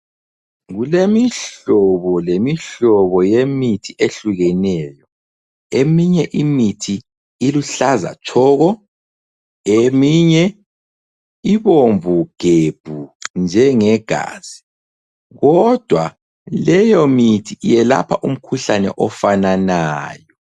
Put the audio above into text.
Kulemihlobo lemihlobo yemithi ehlukeneyo eminye imithi iluhlaza tshoko, eminye ibomvu gebhu njenge gazi kodwa leyo mithi yelapha umkhuhlane ofananayo.